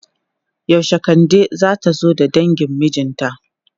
Yaushe Kande zata zo da dangin mijinta?